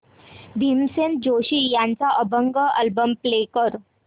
भीमसेन जोशी यांचा अभंग album play कर